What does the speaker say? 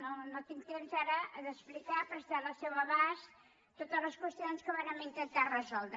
no no tinc temps ara d’explicar·ho però estan al seu abast totes les qüestions que vàrem intentar resoldre